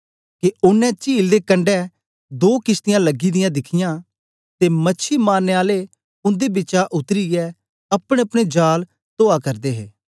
के ओनें चील दे कंडै दो किशतीयां लगी दियां दिखियां ते मछी मारनें आले उन्दे बिचा उतरीयै अपनेअपने जाल तो करदे हे